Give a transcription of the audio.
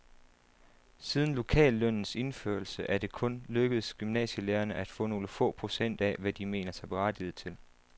Siden lokallønnens indførelse er det kun lykkedes gymnasielærerne at få nogle få procent af, hvad de mener sig berettiget til.